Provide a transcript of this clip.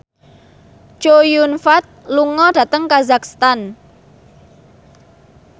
Chow Yun Fat lunga dhateng kazakhstan